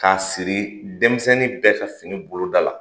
K'a siri denmisɛnnin bɛɛ ka fini boloda la